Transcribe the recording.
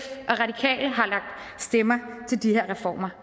og stemmer til de her reformer